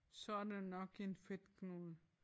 Så er det nok en fedtknude